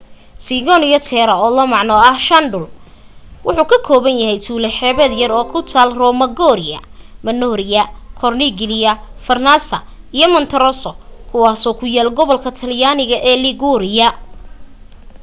cinque terra oo la macno ah shan dhul wuxu ka kooban yahay tuulo xeebeed yar oo ku taal romaggiore manarola corniglia vernazza iyo monterosso kuwaasoo ku yaal gobolka talyaanig ee liguria